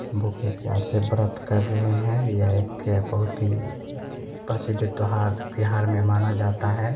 भूखे-प्यासे व्रत कर रहें हैं यह एक बहुत ही प्रसीद प्रसिद्ध त्यौहार बिहार में माना जाता है।